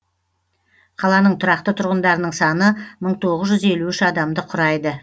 қаланың тұрақты тұрғындарының саны мың тоғыз жүз елу үш адамды құрайды